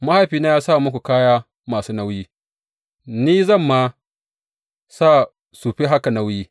Mahaifina ya sa muku kaya masu nauyi; ni zan ma sa su fi haka nauyi.